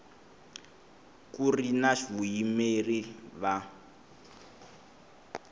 ku ri na vayimeri va